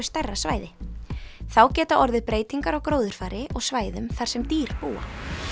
stærra svæði þá geta orðið breytingar á gróðurfari og svæðum þar sem dýr búa